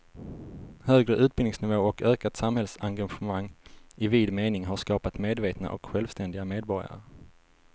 Högre utbildningsnivå och ökat samhällsengagemang i vid mening har skapat medvetna och självständiga medborgare.